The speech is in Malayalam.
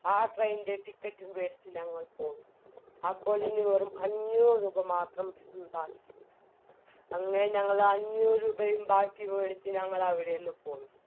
ആ train ൻറെ ticket വെടിച്ച് ഞങ്ങൾ പോയി അപ്പോളിനി വെറും അഞ്ഞൂറ് രൂപ മാത്രം ബാക്കി അങ്ങനെ ഞങ്ങളഞ്ഞൂറ്‍ രൂപയും ബാക്കി വെടിക്ക് ഞങ്ങളവിടെന്ന് പോയി